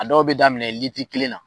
A dɔw be daminɛ litiri kelen na